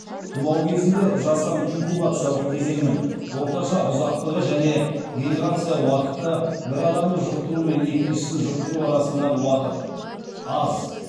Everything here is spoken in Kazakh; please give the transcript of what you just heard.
тұмау кезінде жасырын кезеңнің орташа ұзақтығы және генерация уақыты аз